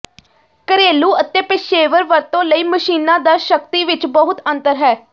ਘਰੇਲੂ ਅਤੇ ਪੇਸ਼ੇਵਰ ਵਰਤੋਂ ਲਈ ਮਸ਼ੀਨਾਂ ਦਾ ਸ਼ਕਤੀ ਵਿੱਚ ਬਹੁਤ ਅੰਤਰ ਹੈ